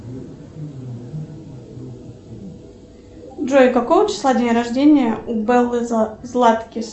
джой какого числа день рождения у беллы златкис